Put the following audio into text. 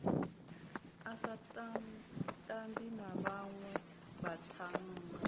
a sa tambi na vhanwevhathannga